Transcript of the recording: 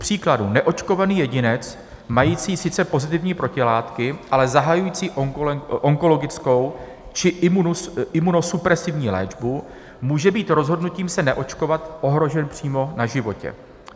Kupříkladu neočkovaný jedinec mající sice pozitivní protilátky, ale zahajující onkologickou či imunosupresivní léčbu může být rozhodnutím se neočkovat ohrožen přímo na životě.